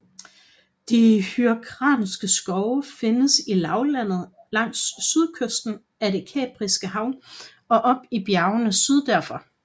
De Hyrkanske skove findes i lavlandet langs sydkysten af det Kaspiske hav og op i bjergene syd derfor